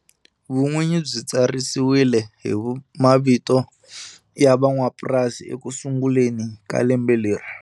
Vun'winyi byi tsarisiwile hi mavito ya van'wamapurasi ekusungeleni ka lembe leri.